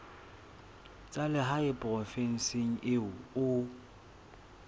tsa lehae provinseng eo o